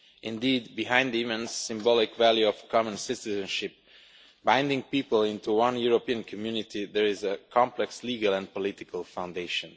Indeed behind the immense symbolic value of common citizenship binding people into one European community, there is a complex legal and political foundation.